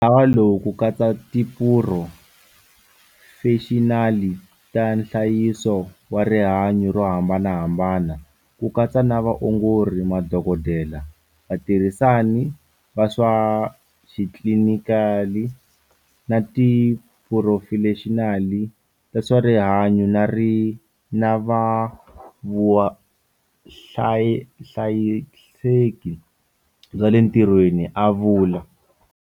Ntlawa lowu wu katsa tiphurofexinali ta nhlayiso wa rihanyu ro hambanahambana, ku katsa na vaongori, madokodela, vatirhisani va swa xitlilinikali, na tiphurofexinali ta swa rihanyu na vuhlayiseki bya le ntirhweni, a vula.